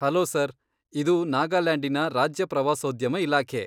Hello sir! ಇದು ನಾಗಾಲ್ಯಾಂಡಿನ ರಾಜ್ಯ ಪ್ರವಾಸೋದ್ಯಮ ಇಲಾಖೆ.